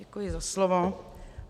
Děkuji za slovo.